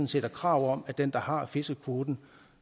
set er krav om at den der har fiskekvoten